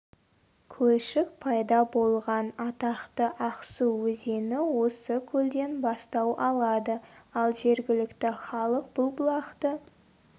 көлшік пайда болған атақты ақсу өзені осы көлден бастау алады ал жергілікті халық бұл бұлақты